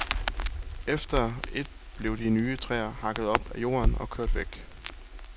Et efter et blev de nye træer hakket op af jorden og kørt væk.